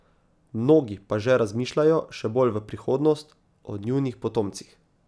Mnogi pa že razmišljajo še bolj v prihodnost, o njunih potomcih.